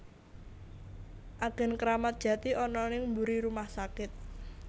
Agen Kramat Jati ana ning mburi rumah sakit